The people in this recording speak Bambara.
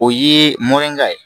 O ye mɔnenya ye